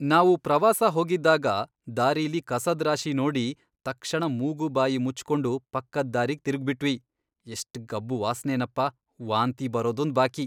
ನಾವು ಪ್ರವಾಸ ಹೋಗಿದ್ದಾಗ ದಾರಿಲಿ ಕಸದ್ ರಾಶಿ ನೋಡಿ ತಕ್ಷಣ ಮುಗು ಬಾಯಿ ಮುಚ್ಕೊಂಡು ಪಕ್ಕದ್ ದಾರಿಗ್ ತಿರುಗ್ಬಿಟ್ವಿ, ಎಷ್ಟ್ ಗಬ್ಬು ವಾಸ್ನೆನಪ, ವಾಂತಿ ಬರೋದೊಂದ್ ಬಾಕಿ.